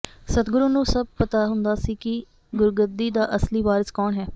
ਸਤਿਗੁਰੂ ਨੂੰ ਸੱਭ ਪਤਾ ਹੁੰਦਾ ਸੀ ਕਿ ਗੁਰਗੱਦੀ ਦਾ ਅਸਲੀ ਵਾਰਿਸ ਕੌਣ ਹੈ